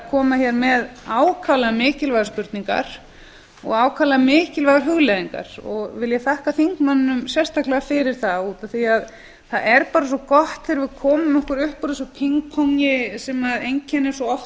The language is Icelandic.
koma hér með ákaflega mikilvægar spurningar og hugleiðingar vil ég þakka þingmanninum sérstaklega fyrir það það er bara svo gott þegar við komum okkur upp úr þessu pingpongi sem einkennir svo oft